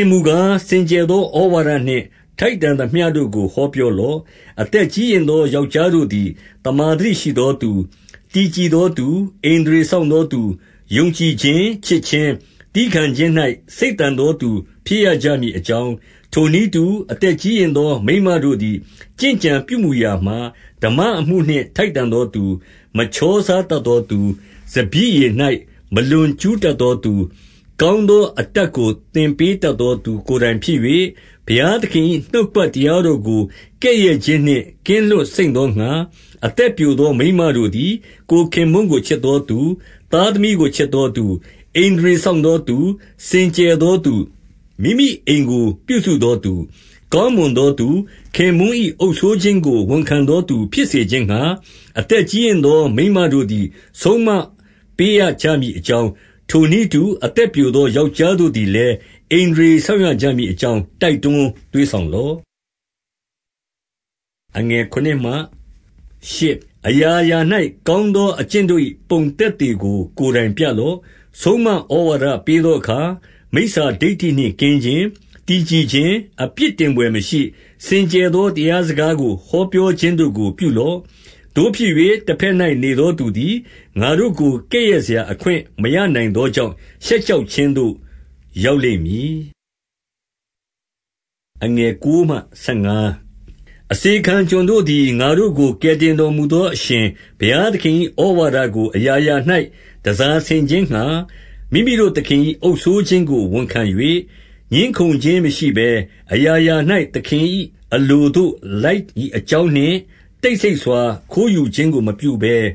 င်မူကား၊ စင်ကြယ်သောဩဝါဒနှင့် ထိုက်တန်သမျှတို့ကို ဟောပြောလော့။ အသက်ကြီးရင့်သောယောက်ျားတို့သည် သမ္မာသတိရှိသောသူ၊ တည်ကြည်သောသူ၊ ဣန္ဒြေစောင့် သောသူ၊ ယုံကြည်ချင်း၊ ချစ်ခြင်း၊ သည်းခံခြင်း၌ စိတ်သန်သောသူ ဖြစ်ရကြမည်အကြောင်း၊ ထိုနည်းတူ၊ အသက်ကြီးရင့်သောမိန်းမတို့သည် ကျင့်ကြံပြုမူရာမှာ ဓမ္မအမှုနှင့် ထိုက်တန်သောသူ၊ မချောစားတတ်သောသူ၊ စပျစ်ရည်၌ မလွန်ကြူးတတ်သောသူ၊ ကောင်းသောအတတ်ကို သင်ပေးတတ်သောသူ ကိုယ်တိုင်ဖြစ်၍၊ ဘုရားသခင်၏ နှုတ်ကပတ်တရားတော်ကို ကဲ့ရဲ့ခြင်းနှင့် ကင်းလွတ်စိမ့်သောငှါ၊ အသက်ပျိုသော မိန်းမတို့သည် ကိုယ်ခင်ပွန်းကို ချစ်သောသူ၊ သားသမီးကို ချစ်သောသူ၊ ဣန္ဒြေစောင့်သောသူ၊ စင်ကြယ်သောသူ၊ မိမိအိမ်ကိုပြုစုသောသူ၊ ကောင်းမွန်သောသူ၊ ခင်ပွန်း၏ အုပ်စိုးခြင်းကို ဝန်ခံသောသူဖြစ်စေခြင်းငှါ၊ အသက်ကြီးရင့်သောမိန်းမတို့သည် ဆုံးမပေးရကြမည်အကြောင်း၊ ထိုနည်းတူ၊ အသက်ပျိုသောယောက်ျားတို့သည်လည်း၊ ဣန္ဒြေစောင့်ရကြမည်အကြောင်း တိုက်တွန်း သွေးဆောင်လော့။ အရာရာ၌ ကောင်းသောအကျင့်တို့၏ ပုံသက်သေကို ကိုယ်တိုင်ပြလော့။ ဆုံးမဩဝါဒပေးသောအခါ၊ မိစ္ဆာဒိဋ္ဌိနှင့်ကင်းခြင်း၊ တည်ကြည်ခြင်း၊ အပြစ်တင်ဘွယ်မရှိ၊ စင်ကြယ်သောတရားစကားကို ဟောပြောခြင်းတို့ကို ပြုလော့။ သို့ဖြစ်၍၊ တဘက်၌ နေသောသူသည်၊ ငါတို့ကို ကဲ့ရဲ့စရာအခွင့် မရနိုင်သောကြောင့်၊ ရှက်ကြောက်ခြင်းသို့ ရောက်လိမ့် မည်။ အစေခံကျွန်တို့သည်။ ငါတို့ကို ကယ်တင်တော်မူသော အရှင်ဘုရားသခင်၏ ဩဝါဒကို အရာရာ၌ တန်ဆာဆင်ခြင်းငှါ၊ မိမိတို့ သခင်၏အုပ်စိုးခြင်းကို ဝန်ခံ၍၊ ငြင်းခုံခြင်းမရှိဘဲ၊ အရာရာ၌ သခင်၏အလိုသို့ လိုက်မည်အကြောင်းနှင့်၊ တိတ်ဆိတ်စွာ ခိုးယူခြင်းကိုမပြုဘဲ၊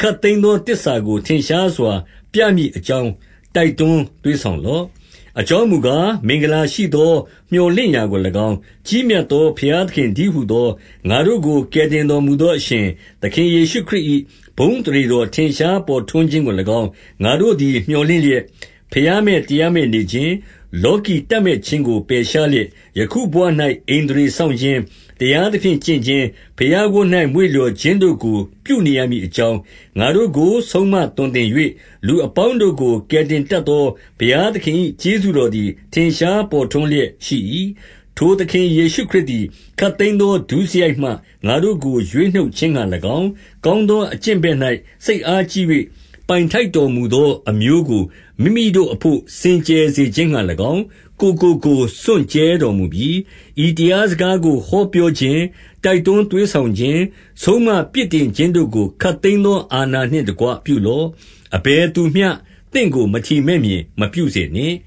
ခပ်သိမ်းသောသစ္စာကို ထင်ရှားစွာ ပြမည်အကြောင်းတိုက်တွန်း သွေးဆောင်လော့။ အကြောင်းမူကား၊ မင်္ဂလာရှိသော မြော်လင့်ရာကို၎င်း၊ ကြီးမြတ်သော ဘုရားသခင်တည်းဟူသော၊ ငါတို့ကို ကယ်တင်တော်မူသော အရှင်သခင် ယေရှုခရစ်၏ ဘုန်းအသရေတော် ထင်ရှားပေါ်ထွန်းခြင်းကို၎င်း၊ ငါတို့သည် မြော်လင့်လျက်၊ ဘုရားမဲ့ တရားမဲ့နေခြင်း၊ လောကီတပ်မက်ခြင်းကို ပယ်ရှားလျက်၊ ယခု ဘဝ၌ ဣန္ဒြေစောင့်ခြင်း၊ တရားသဖြင့်ကျင့်ခြင်း၊ ဘုရားဝတ်၌မွေ့လျှော်ခြင်းတို့ကို ပြုနေရမည်အကြောင်း၊ ငါတို့ကို ဆုံးမသွန်သင်၍၊ လူအပေါင်းတို့ကို ကယ်တင်တတ်သော ဘုရားသခင်၏ကျေးဇူးတော်သည် ထင်ရှား ပေါ် ထွန်းလျက်ရှိ၏။ ထိုသခင်ယေရှုခရစ်သည် ခပ်သိမ်းသော ဒုစရိုက်မှ ငါတို့ကို ရွေးနှုတ်ခြင်းငှါ၎င်း၊ ကောင်းသော အကျင့်ဘက်၌ စိတ်အားကြီး၍၊ ပိုင်ထိုက်တော်မူသော အမျိုးကိုမိမိအဘို့ စင်ကြယ်စေခြင်းငှါ၎င်း၊ ကိုယ်ကို ကိုယ် စွန့်ကြဲတော်မူပြီ။ ဤတရားစကားကိုဟောပြောခြင်း၊ တိုက်တွန်းသွေးဆောင်ခြင်း၊ ဆုံးမပြစ်တင်ခြင်းတို့ကို ခပ်သိမ်းသော အာဏာနှင့်တကွပြုလော့။ အဘယ်သူမျှ သင့်ကိုမထီမဲ့မြင် မပြုစေနှင့်